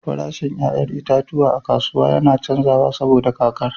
Farashin 'ya'yan itatuwa a kasuwa yana canzawa saboda kakar.